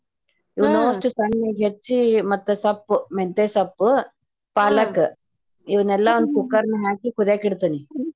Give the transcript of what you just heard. ಇವ್ನ ಅಷ್ಟು ಸಣ್ಣಗೆ ಹೆಚ್ಚಿ ಮತ್ತ ಸೊಪ್ಪು ಮೆಂತೆ ಸೊಪ್ಪು, ಪಾಲಕ್ ಇವನೆಲ್ಲಾ ಒಂದ cooker ನಾಗ ಹಾಕಿ ಕುದ್ಯಾಕ ಇಡ್ತೇನಿ.